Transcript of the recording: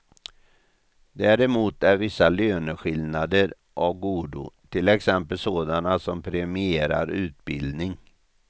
Däremot är vissa löneskillnader av godo, till exempel sådana som premierar utbildning.